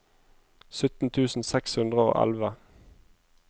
sytten tusen seks hundre og elleve